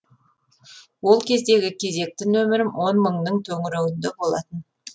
ол кездегі кезекті нөмірім он мыңның төңірегінде болатын